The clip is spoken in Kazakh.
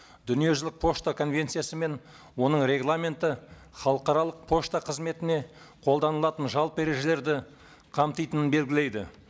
дүниежүзілік пошта конвенциясы мен оның регламенті халықаралық пошта қызметіне қолданылатын жалпы ережелерді қамтитынын белгілейді